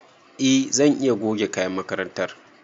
E zan iya goge kayan makarantar ka